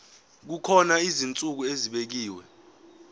kukhona izinsuku ezibekiwe